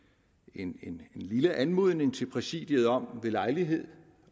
en en lille anmodning til præsidiet om ved lejlighed